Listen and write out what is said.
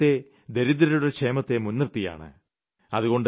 നമ്മുടെ രാജ്യത്തെ ദരിദ്രരുടെ ക്ഷേമത്തെ മുൻനിർത്തിയാണ്